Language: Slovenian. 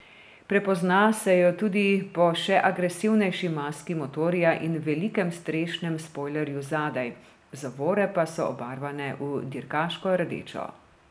Prepozna se jo tudi po še agresivnejši maski motorja in velikem strešnem spojlerju zadaj, zavore pa so obarvane v dirkaško rdečo.